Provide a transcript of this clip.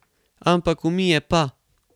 Ampak umije pa!